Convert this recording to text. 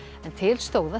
en til stóð að